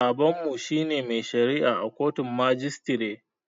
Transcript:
Babanmu shine mai shari'a a kotun majistire